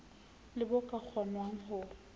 le bo ka kgonwang ho